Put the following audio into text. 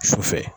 Su fɛ